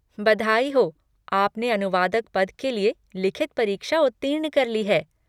बधाई हो! आपने अनुवादक पद के लिए लिखित परीक्षा उत्तीर्ण कर ली है।